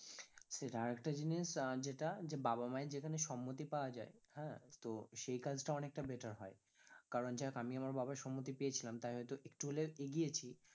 সেটা আর একটা জিনিস আহ যেটা যে বা মায়ের যেখানে সম্মতি পাওয়া যায় হ্যাঁ, তো সেই কাজটা অনেকটা better হয় কারণ যাইহোক আমি আমার বাবার সম্মতি পেয়েছিলাম তাই হয়তো একটু হলেও এগিয়েছি,